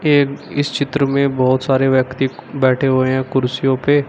एक इस चित्र में बहोत सारे व्यक्ति बैठे हुए हैं कुर्सियों पे।